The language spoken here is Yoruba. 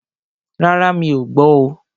Rárá, mí ọ̀ gbọ́ oo.